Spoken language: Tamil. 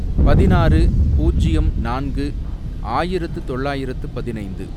பதினாறு பூஜ்யம் நான்கு ஆயிரத்து தொள்ளாயிரத்து பதினைந்து